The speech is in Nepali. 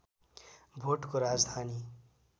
भोटको राजधानी